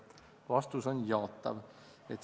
Vastus on jaatav.